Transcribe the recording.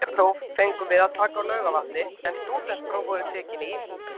Bekkjarpróf fengum við að taka á Laugarvatni en stúdentspróf voru tekin í